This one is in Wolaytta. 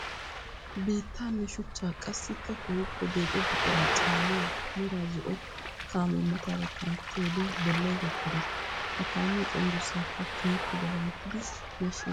Biittanne shuchcha qassikka keehipe deexxo buqura caaniya mera zo'o kaame mataara kanttiyoode bollay kokkorees. Ha kaamiya cenggurssaykka keehippe daganttiddi yashshes.